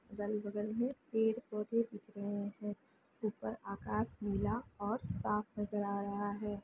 अगल-बगल में पेड़-पोधे दिख रही है ऊपर आकाश नीला और साफ नज़र आ रहा है।